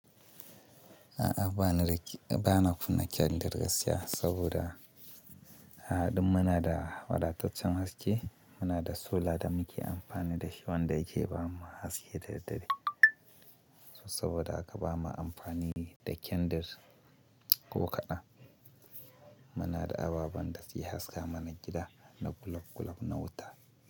A'a, ba na kunna kyandir gaskiya saboda a duk muna da wadataccen haske. Muna da solar da muke amfani da shi wanda yake bamu haske da daddare saboda haka ba ma amfani da kyandir ko kaɗan. Muna da ababen da suke haska mana gida da globe globe na wuta.